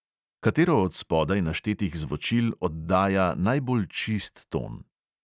Katero od spodaj naštetih zvočil oddaja najbolj čist ton?